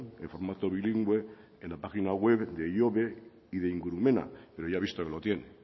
en formato bilingüe en la página web de ihobe y de ingurumena pero ya he visto que lo tiene